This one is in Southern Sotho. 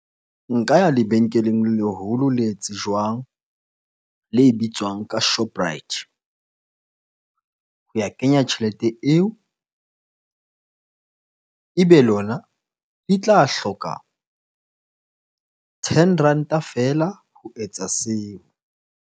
Nka ya lebenkeleng le leholo le tsejwang, le bitswang ka Shoprite ho ya kenya tjhelete eo. Ebe lona e tla hloka ten ranta feela ho etsa seo.